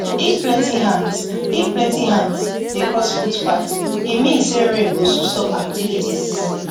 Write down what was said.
if plenty ants if plenty ants dey cross footpath e fit mean say rain go soon stop activities